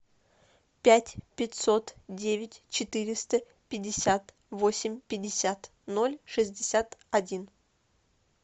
пять пятьсот девять четыреста пятьдесят восемь пятьдесят ноль шестьдесят один